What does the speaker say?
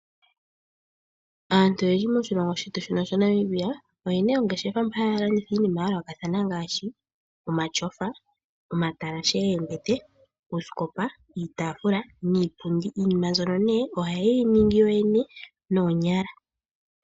Aantu oyendji moshilongo shetu Namibia oyena oongeshefa mpa haya landitha iinima ya yoolokathana ngaashi omatyofa, omatalashe goombete, uusikopa, iitaafula niipundi iinima mbyono nee ohayeyi ningi yoyene noonyala.